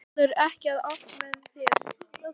Það fellur ekki allt með þér.